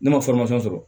Ne ma sɔrɔ